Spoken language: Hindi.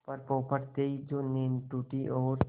पर पौ फटते ही जो नींद टूटी और